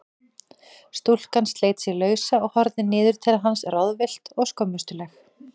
Stúlkan sleit sig lausa og horfði niður til hans ráðvillt og skömmustuleg.